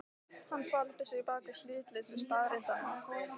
Hann faldi sig bak við hlutleysi staðreyndanna.